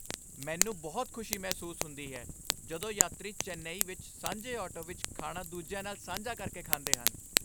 ਮੈਨੂੰ ਬਹੁਤ ਖੁਸ਼ੀ ਮਹਿਸੂਸ ਹੁੰਦੀ ਹੈ ਜਦੋਂ ਯਾਤਰੀ ਚੇਨਈ ਵਿੱਚ ਸਾਂਝੇ ਆਟੋ ਵਿੱਚ ਖਾਣਾ ਦੂਜਿਆਂ ਨਾਲ ਸਾਂਝਾ ਕਰਕੇ ਖਾਂਦੇ ਹਨ।